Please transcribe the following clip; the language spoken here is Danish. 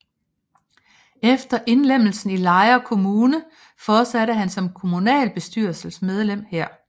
Efter indlemmelsen i Lejre Kommune fortsatte han som kommunalbestyrelsesmedlem her